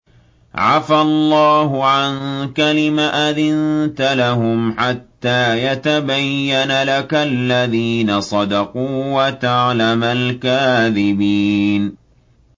عَفَا اللَّهُ عَنكَ لِمَ أَذِنتَ لَهُمْ حَتَّىٰ يَتَبَيَّنَ لَكَ الَّذِينَ صَدَقُوا وَتَعْلَمَ الْكَاذِبِينَ